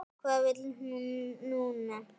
Hvað vill hún núna?